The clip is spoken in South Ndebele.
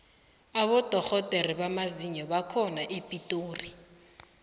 abodorhodere bamazinyo bakhona epitori